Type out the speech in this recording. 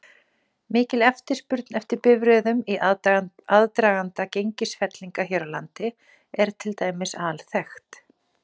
Fimm árum síðar hafði Persakonungi tekist að bæla þær niður.